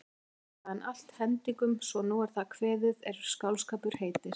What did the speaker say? Mælti hann allt hendingum svo sem nú er það kveðið er skáldskapur heitir.